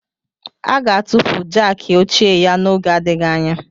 A ga-atụfu Jákii ochie ya n'oge adịghị anya